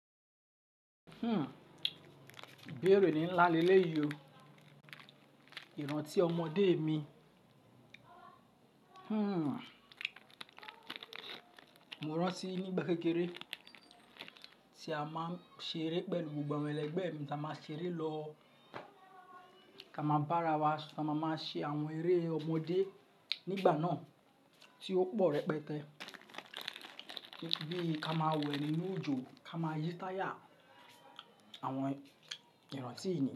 Béèrè ní ńlá lelé yọ, ìrántí ọmọdé mi. Mo rántí nígbà kékeré tí a máa ń ṣeré pẹ̀lú gbogbo àwọn ẹlẹgbẹ́ mi, tí a máa ṣeré lọ, ta máa bá ara wa, ta máa máa ṣe àwọn eré ọmọdé nígbà náà tí ó pò rẹpẹtẹ. Bí ká máa wẹ nínú òjò, ká máa yí táyà, àwọn ìrántí ìgbà.